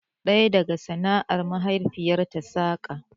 Ɗaya daga sana'ar mahaifiyarta saƙa